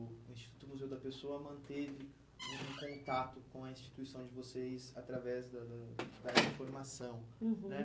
o o Instituto Museu da Pessoa manteve um um contato com a instituição de vocês através da da da área de formação né? Uhum.